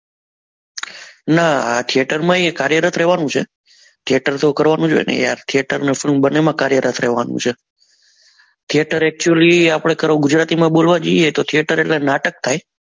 નાં theater માએ કાર્યરત રેવા નું છે theater તો કરવા નું જ હોય ને theater ને film બન્ને માં કાર્યરત રેવાનું છે theater actually આપડે ગુજરાતી માં બોલવા જઈએ તો theater એટલે નાટક થાય